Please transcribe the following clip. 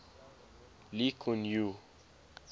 lee kuan yew